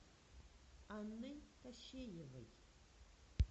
анной кащеевой